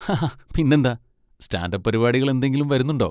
ഹഹ പിന്നെന്താ! Stand up പരിപാടികൾ എന്തെങ്കിലും വരുന്നുണ്ടോ?